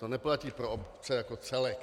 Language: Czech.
To neplatí pro obce jako celek.